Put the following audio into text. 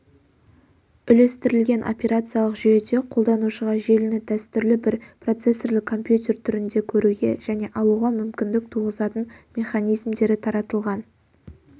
үлестірілген операциялық жүйеде қолданушыға желіні дәстүрлі бір процессорлі компьютер түрінде көруге және алуға мүмкіндік туғызатын механизмдері таратылған